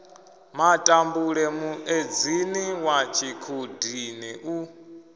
matambule muedzini wa tshikhudini u